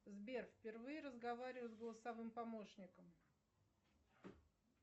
сбер впервые разговариваю с голосовым помощником